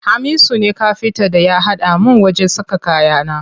Hamisu ne Kafintan da ya haɗa min wajen saka kayana.